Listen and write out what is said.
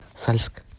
сальск